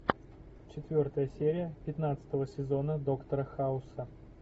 четвертая серия пятнадцатого сезона доктора хауса